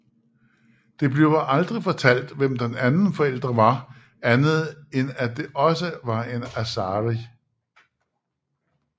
Det bliver aldrig fortalt hvem den anden forældre var andet end at det også var en Asari